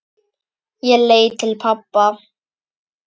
Ég leit til pabba.